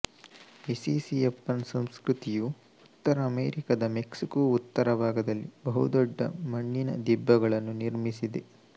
Mississippian ಸಂಸ್ಕೃತಿಯು ಉತ್ತರ ಅಮೆರಿಕದ ಮೆಕ್ಸಿಕೊ ಉತ್ತರ ಭಾಗದಲ್ಲಿ ಬಹುದೊಡ್ಡ ಮಣ್ಣಿನ ದಿಬ್ಬಗಳನ್ನು ನಿರ್ಮಿಸಿದೆ